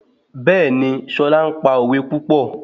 Bẹ́ẹ̀ni, Ṣọlá le pa òwe púpọ̀